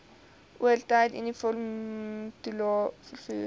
oortyd uniformtoelae vervoer